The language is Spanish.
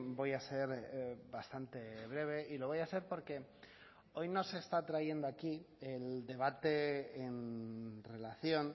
voy a ser bastante breve y lo voy a ser porque hoy no se está trayendo aquí el debate en relación